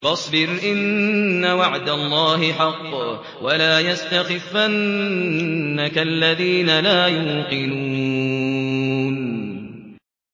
فَاصْبِرْ إِنَّ وَعْدَ اللَّهِ حَقٌّ ۖ وَلَا يَسْتَخِفَّنَّكَ الَّذِينَ لَا يُوقِنُونَ